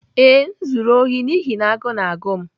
Ee, m zuru ohi n'ihi na agụụ na-agụ m.